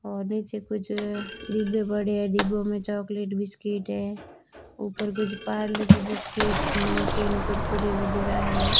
और नीचे कुछ डिब्बे पड़े हैं डिब्बों में चॉकलेट बिस्किट है ऊपर कुछ पारले जी बिस्कुट नमकीन कुरकुरे वगैरह है।